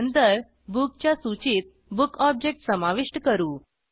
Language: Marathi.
नंतर बुक च्या सूचीत bookऑब्जेक्ट समाविष्ट करू